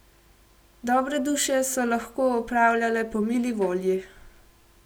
Dobre duše so lahko opravljale po mili volji.